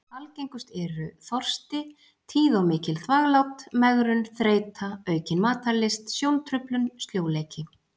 Algengust eru: þorsti, tíð og mikil þvaglát, megrun, þreyta, aukin matarlyst, sjóntruflun, sljóleiki.